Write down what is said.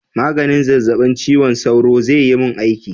Maganin zazzabin cizon sauro zai yi mun aiki?